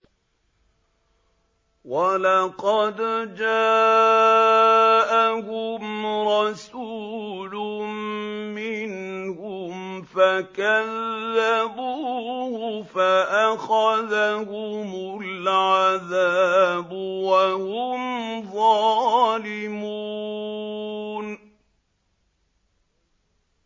وَلَقَدْ جَاءَهُمْ رَسُولٌ مِّنْهُمْ فَكَذَّبُوهُ فَأَخَذَهُمُ الْعَذَابُ وَهُمْ ظَالِمُونَ